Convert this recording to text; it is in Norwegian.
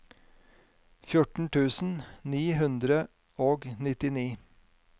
fjorten tusen ni hundre og nittini